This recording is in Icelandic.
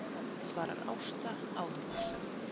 svarar Ásta áhugasöm.